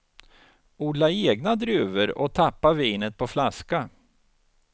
Odla egna druvor och tappa vinet på flaska.